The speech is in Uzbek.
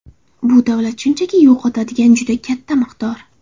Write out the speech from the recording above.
Bu davlat shunchaki yo‘qotadigan juda katta miqdor.